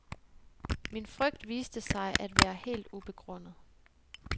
Min frygt viste sig at være helt ubegrundet.